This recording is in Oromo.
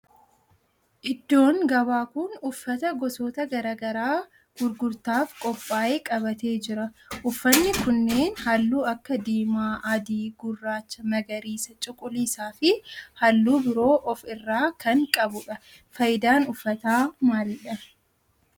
iddoon gabaa kun uffata gosoota garaa garaa gurgurtaaf qophaa'ee qabatee jira. uffanni kunneen halluu akka diimaa, adii, gurraacha, magariisa, cuquliisaa fi halluu biroo of irraa kan qabudha. faayidan uffataa maalidha?